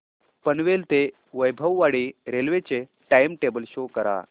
पनवेल ते वैभववाडी रेल्वे चे time table show करा